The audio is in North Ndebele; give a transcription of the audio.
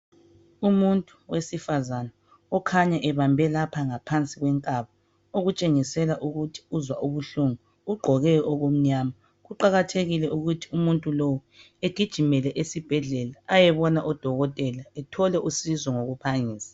Umuntu owesifazana okhanya ebambe lapha ngaphansi kwenkaba. Okutshengisela ukuthi uzwa ubuhlungu. Ugqoke okumnyama. Kuqakathekile ukuthi umuntu lowu agijimele esibhedlela ayebona odokotela. Athole usizo ngokuphangisa.